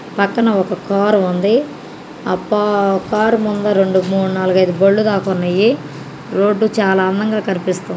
పక్కన ఒక కార్ ఉంది. ఆపా కార్ ముందర రెండు మూడు నాలుగు ఐదు బండ్లు వరకు ఉన్నాయి. రోడ్డు చాలా అందంగా కనిపిస్తుంది.